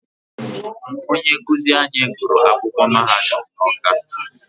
Onye nkụzi anyị gụrụ akwụkwọ mahadum n'Ọ́ká.